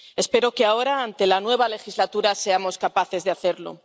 Espero que ahora, ante la nueva legislatura, seamos capaces de hacerlo.